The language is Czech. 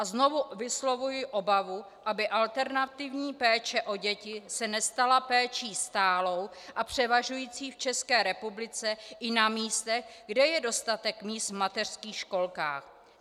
A znovu vyslovuji obavu, aby alternativní péče o děti se nestala péčí stálou a převažující v České republice i na místech, kde je dostatek míst v mateřských školkách.